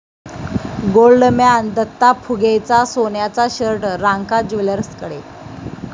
Goldman Datta फुगेचा सोन्याचा shirt Ranka ज्वेलर्सकडे!